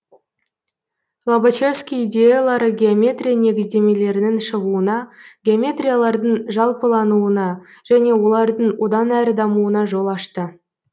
лобачевский идеялары геометрия негіздемелерінің шығуына геометриялардың жалпылануына және олардың одан әрі дамуына жол ашты